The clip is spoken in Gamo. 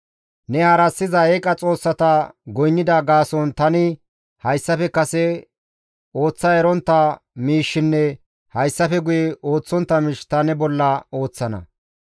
Ne harassiza eeqa xoossata goynnida gaason tani hayssafe kase ooththa erontta miishshinne hayssafe guyekka ooththontta miish ta ne bolla ooththana.